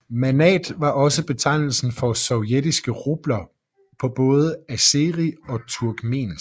Manat var også betegnelsen for sovjetiske rubler på både azeri og turkmensk